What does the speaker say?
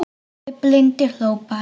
En afi blindi hló bara.